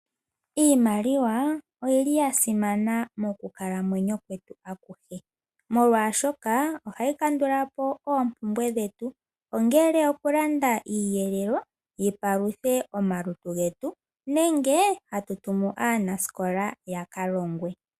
Iimaliwa oyi li ya simana mokukalamwenyo kwetu akuhe, molwashoka ohayi kandula po oompumbwe dhetu. Ongele okulanda iiyelelwa yi paluthe omalutu getu nenge hatu tumu aanasikola ya ka longwe.